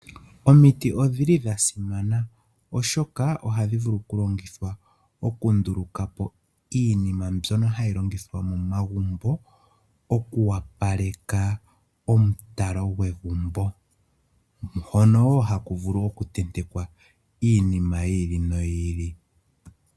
Omiti odha simana, oshoka ohadhi vulu okulongithwa okunduluka po iinima mbyono hayi longithwa momagumbo oku opaleka omutalelo gwegumbo, hono wo haku vulu okutentekwa iinima yi ili noyi ili.